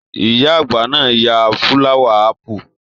Iya àgbà náà yan fulawa apu.